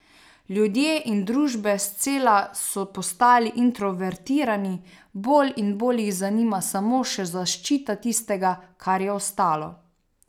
Ljudje in družbe scela so postali introvertirani, bolj in bolj jih zanima samo še zaščita tistega, kar je ostalo.